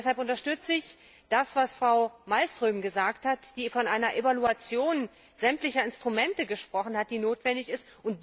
Deshalb unterstütze ich das, was Frau Malmström gesagt hat, die von einer Evaluation sämtlicher Instrumente gesprochen hat, die notwendig ist.